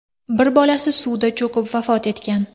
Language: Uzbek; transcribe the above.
Bir bolasi suvda cho‘kib vafot etgan.